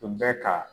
Tun bɛ ka